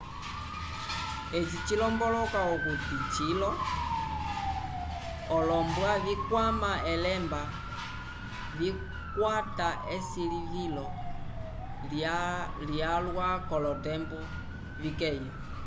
eci cilomboloka okuti cilo olombwa vikwama elemba vikakwata esilivilo lyalwa k'olotembo vikeya